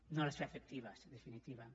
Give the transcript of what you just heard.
no les fa efectives en definitiva